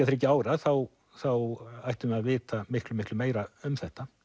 þriggja ára þá þá ættum við að vita miklu miklu meira um þetta